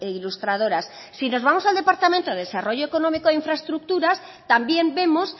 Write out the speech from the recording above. ilustradoras si nos vamos al departamento de desarrollo económico e infraestructuras también vemos